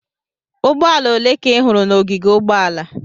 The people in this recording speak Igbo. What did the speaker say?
Ụgbọala ole ka ị hụrụ n'ogige ụgbọala?